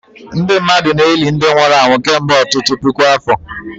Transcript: Ndị mmadụ na-eli ndị nwụrụ anwụ kemgbe ọtụtụ puku afọ